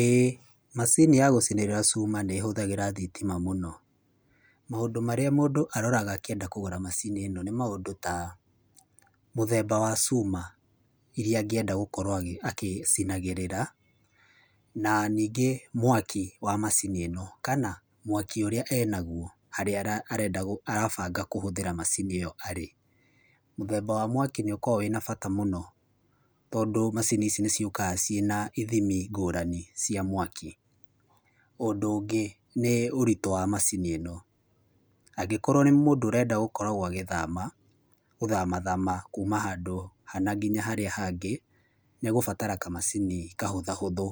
Ĩĩ, macini yagũcinĩrĩra cuma nĩ ĩhũthagĩra thitima mũno. Maũndũ marĩa mũndũ aroraga akĩenda kũgũra macini ĩno nĩ maũndũ ta, mũthemba wa cuma iria angĩnda gũkorwo agĩcinagĩrĩra, na ningĩ mwaki wa macini ĩno kana mwaki ũrĩa enaguo harĩ rĩrĩa arenda kũhũthĩra macini ĩo arĩ. Mũthemba wa mwaki nĩ ũkoragwo wĩ wabata mũno tondũ macini ici nĩ ciũkaga ciĩna ithimi ngũrani cia mwaki. Ũndũ ũngĩ nĩ ũritũ wa macini ĩno. Angĩkorwo nĩ mũndũ arenda gũkorwo agĩthama thama kũma handũ hana ngĩnya harĩa hangĩ nĩ egũbatara kamacini kahũthahũthũ